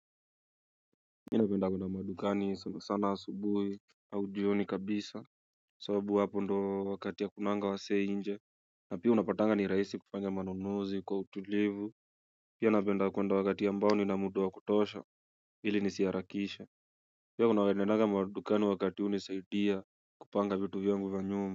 Na penda kuenda madukani sana asubuhi au jioni kabisa sababu hapo ndo wakati ya kunanga wasee inje na pia unapatanga ni rahisi kufanga manunuzi kwa utulivu Pia napenda kuenda wakati ambao ni ninamuda wa kutosha ili nisiharakishe Pia kuna wadenaga madukani wakati hunisahidia kupanga vitu vyangu vya nyumba.